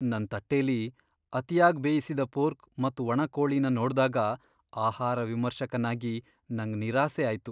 ನನ್ ತಟ್ಟೆಲಿ ಅತಿಯಾಗ್ ಬೇಯಿಸಿದ ಪೋರ್ಕ್ ಮತ್ ಒಣ ಕೋಳಿನ ನೋಡ್ದಾಗ ಆಹಾರ ವಿಮರ್ಶಕನಾಗಿ, ನಂಗ್ ನಿರಾಸೆ ಆಯ್ತು.